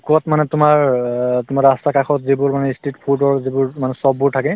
কৰবাত মানে তোমাৰ অ তোমাৰ ৰাস্তাৰ কাষত যিবোৰ মানে ই street food ৰ যিবোৰ মানে shop বোৰ থাকে